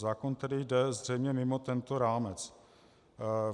Zákon tedy jde zřejmě mimo tento rámec.